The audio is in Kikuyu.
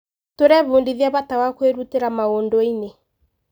Tũrebundithia bata wa kwĩrutĩra maũndũ-inĩ.